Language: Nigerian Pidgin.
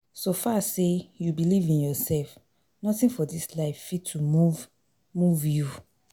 So far sey you believe in yourself, nothing for dis life fit to move move you